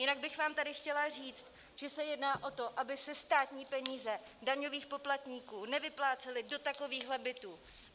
Jinak bych vám tady chtěla říct, že se jedná o to, aby se státní peníze daňových poplatníků nevyplácely do takovýchto bytů.